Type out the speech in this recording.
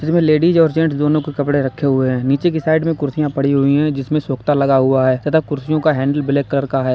जिसमें लेडीज और जेंट्स दोनों के कपड़े रखे हुए हैं नीचे की साइड में कुर्सियां पड़ी हुई हैं जिसमें सोकता लगा हुआ है तथा कुर्सियों का हैंडल ब्लैक कलर का हैं।